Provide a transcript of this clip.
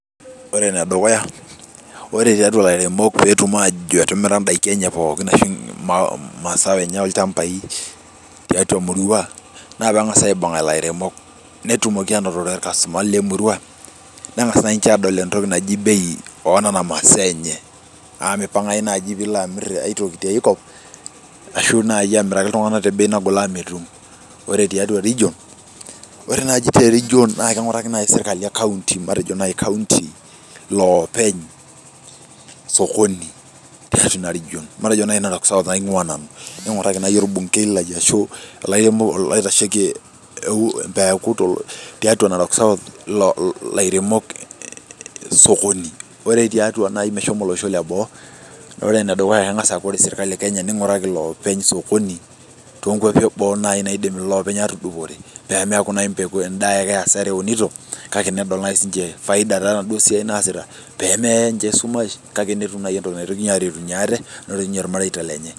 Ore ene dukuya ore tiatua ilairemok pee etum aajo etimira, idaikin enye pookin. ashu imasaaa enye olchampai, tiatau emurua, naa pee engas aibung'a ilairemok, nengas, emurua, nengas aadol entoki naji nei oo nena, masaa enye. amu mipangayu naaji pee ilo amir aitoki tiae kop, ashu naaji aamiraki iltunganak te bei naagol amu metum. ore tiatua region. ore naaji te region naa kingiataki naaji sirkali e kainyioo. matejo naaji kaunti. Iloopenye sokoni ashu ntare. matejo naaji Nena masaa aingua nanu. inguraki naaji olbunkei lai, tiatua narok south. olairemok sokoni. ore tiatua olosho le boo, ore ene dukuya keng'as aaku ore sirkali edukuya, ninguraki olosho le boo. nininhuraki iloopenye sokoni, too nkuapi eboo naidim iloopeny atudupore. pee meekure naji edaa ake asara eunoto, peetum faida osiaitin naasita pee meya ninche esumash kake peetum entoki naretunye ate ilmareita lenye.